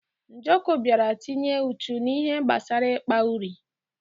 Njoku biara tinye uchu n'ihe gbasara ikpa uri.